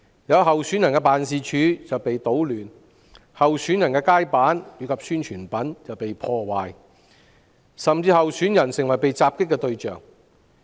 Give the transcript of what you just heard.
有候選人的辦事處被搗亂，也有候選人的街板及宣傳品被破壞，甚至有候選人成為被襲擊的對象。